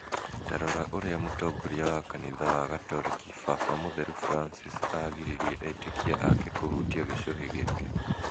Ta rora ũrĩa mũtongoria wa kanitha wa gatoreki, Baba Mũtheru Francis, aagiririe etĩkia ake kũhutia gĩcũhĩ gĩake